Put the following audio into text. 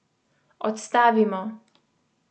Odstavimo.